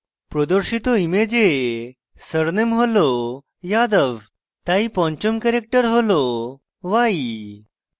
প্রদর্শিত image surname হল yadav তাই পঞ্চম ক্যারেক্টার হল y